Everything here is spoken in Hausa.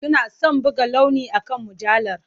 Suna son buga launi akan mujallar.